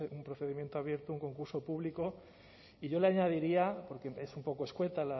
un procedimiento abierto a un concurso público y yo le añadiría porque es un poco escueta